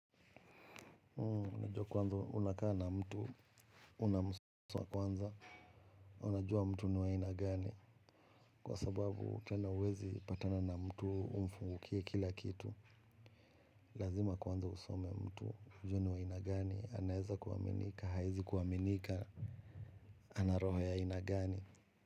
Unajua kwanza unakaa na mtu unamsoma kwanza unajua mtu ni wa aina gani kwa sababu tena huwezi patana na mtu umfungukie kila kitu lazima kwanza usome mtu ujue ni wa aina gani anaweza kuaminika hawezi kuaminika ana roho ya aina gani.